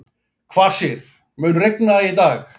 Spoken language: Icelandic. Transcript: Kvasir, mun rigna í dag?